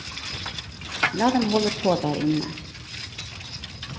La dem holde på der inne.